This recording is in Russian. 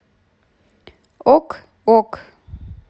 ок ок